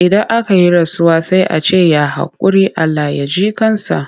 Idan aka yi rasuwa sai a ce ya haƙuri? Allah ya ji ƙan sa.